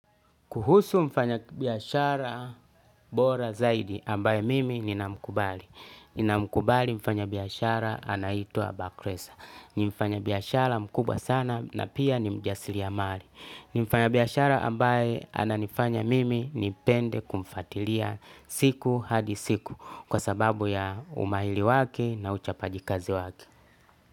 Kuhusu mfanya biashara bora zaidi ambaye mimi nina mkubali. Nina mkubali mfanya biashara anaitwa bakresa. Ni mfanya biashara mkubwa sana na pia ni mjasili ya mari. Ni mfanya biashara ambaye ananifanya mimi nipende kumfatilia siku hadi siku kwa sababu ya umaili wake na uchapaji kazi wake.